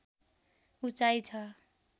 उँचाइ छ